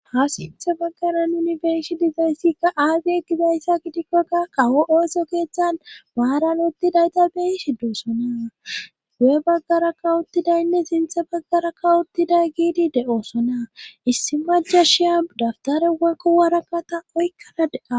ha sintha baggaran unibersi dizayssikka aagi egizayssa qidikkokka qawo ooso keeththan maaran uttidayta beyi shidduosona gu7e baggara kawuttidaynne sintha baggara kawottida giidi de7oosona issi maja shiya dabtare wekko waraka ta oykkana de'a